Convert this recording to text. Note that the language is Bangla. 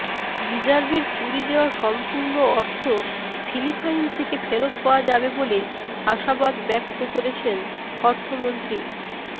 রিজার্ভের চুরি যাওয়া সম্পূর্ণ অর্থ ফিলিপাইন থেকে ফেরত পাওয়া যাবে বলে আশাবাদ ব্যক্ত করেছেন অর্থমন্ত্রী